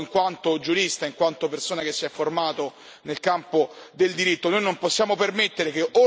È a loro che mi rivolgo, in quanto giurista, in quanto persona che si è formata nel campo del diritto.